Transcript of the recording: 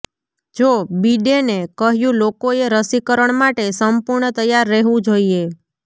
જો બિડેને કહ્યું લોકોએ રસીકરણ માટે સંપૂર્ણ તૈયાર રહેવું જોઈએ